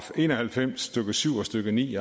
en og halvfems stykke syv og stykke ni